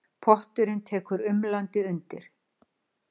Potturinn tekur umlandi undir.